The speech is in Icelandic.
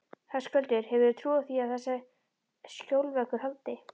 Höskuldur: Hefurðu trú á því að þessi skjólveggur haldi?